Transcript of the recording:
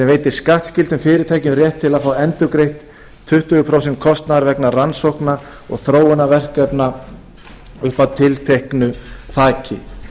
veitir skattskyldum fyrirtækjum rétt til að fá endurgreitt tuttugu prósent kostnaðar vegna rannsókna og þróunarverkefna upp að tilteknu þaki